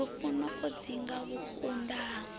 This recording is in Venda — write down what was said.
lufuno o dzinga vhukunda ha